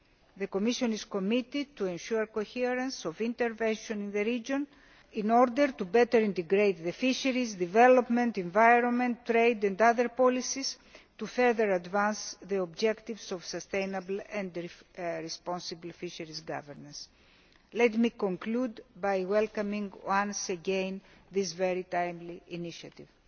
The Commission is committed to ensuring coherent intervention in the region, in order to better integrate fisheries development, environment, trade and other policies, to further advance the objectives of sustainable and responsible fisheries governance. Let me conclude by welcoming, once again, this very timely initiative.